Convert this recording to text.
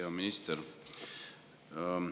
Hea minister!